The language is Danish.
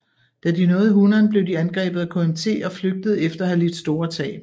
Da de nåede Hunan blev de angrebet af KMT og flygtede efter at have lidt store tab